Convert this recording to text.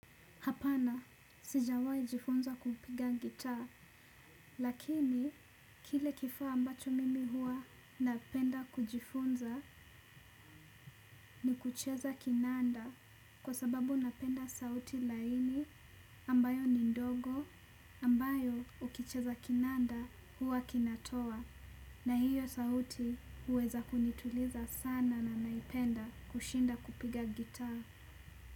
Hapana sijawahi jifunza kupiga gitaa lakini kile kifaa ambacho mimi huwa napenda kujifunza ni kucheza kinanda kwa sababu napenda sauti laini ambayo ni ndogo ambayo ukicheza kinanda huwa kinatoa na hio sauti uweza kunituliza sana na naipenda kushinda kupiga gitaa.